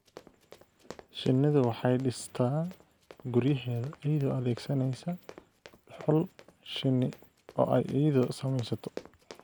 Shinnidu waxay dhistaa guryaheeda iyadoo adeegsanaysa dhuxul shinni oo ay iyadu samaysato.